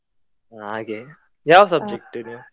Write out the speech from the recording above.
ಹಾಗೆ, ಯಾವ್ subject ನೀವ್.